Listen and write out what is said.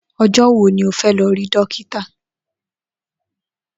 O̩jó̩ wo ni o fé̩ lo̩ rí dókítà?